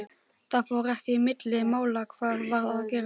Það fór ekki milli mála hvað var að gerast.